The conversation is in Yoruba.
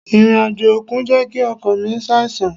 Ìrìn-àjò òkun jẹ́ kí ọkọ mi ṣàìsàn.